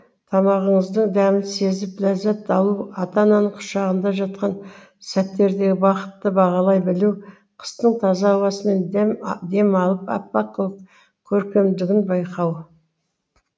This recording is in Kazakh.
тамағыңыздың дәмін сезіп ләззат алу ата ананың құшағында жатқан сәттердегі бақытты бағалай білу қыстың таза ауасымен дем алып аппақ көркемдігін байқау